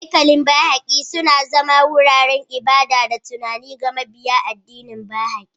Haikalin Baha'i, suna zama wuraren ibada da tunani ga mabiya addinin Baha'i.